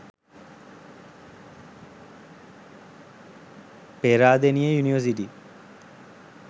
peradeniya university